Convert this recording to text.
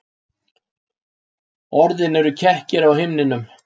Orðin eru kekkir á himninum.